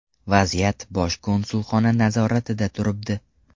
Vaziyat Bosh konsulxona nazoratida turibdi.